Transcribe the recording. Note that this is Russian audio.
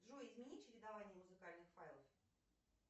джой измени чередование музыкальных файлов